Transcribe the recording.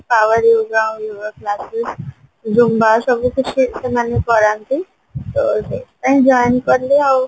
Zumba ସବୁ ଶିଖେ ସେମାନେ କରାନ୍ତି ତ ସେଇଥିପାଇଁ join କଲି ଆଉ